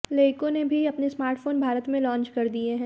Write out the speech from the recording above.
लेईको ने भी अपने स्मार्टफोन भारत में लॉन्च कर दिए हैं